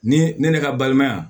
Ni ne ne ka balimaya